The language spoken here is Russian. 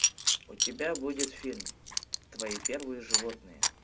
у тебя будет фильм твои первые животные